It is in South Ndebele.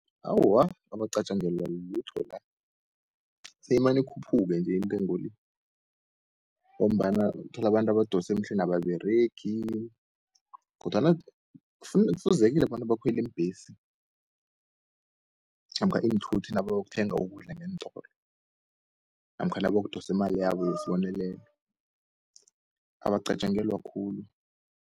Awa abacatjangelwa lutho la, seyimani ikhuphuke nje intengo le, ngombana uthola abantu abadosemhlweni nababeregi, kodwana kufuzekile bona bakhweli iimbhesi namkha iinthuthi naba yokuthenga ukudla ngeentolo, namkha naba yokudosimali yabo yesbonelelo abacatjelwa khulu.